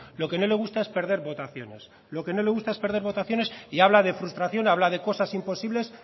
lo que no le gusta es perder votaciones lo que no les gusta es perder votaciones y habla de frustración habla de cosas imposibles